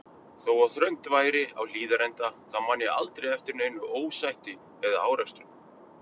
Þó að þröngt væri á Hlíðarenda þá man ég aldrei eftir neinu ósætti eða árekstrum.